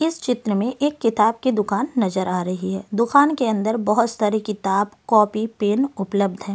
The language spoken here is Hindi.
इस चित्र में एक किताब की दुकान नज़र आ रही है दुकान के अंदर बहुत सारी किताब कॉपी पेन उपलब्ध है।